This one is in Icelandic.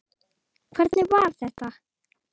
Hvernig var þetta?